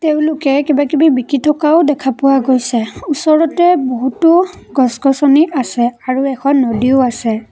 তেওঁলোকে কিবা কিবি বিকি থকাও দেখা পোৱা গৈছে ওচৰতে বহুতো গছ-গছনি আছে আৰু এখন নদীও আছে।